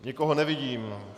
Nikoho nevidím.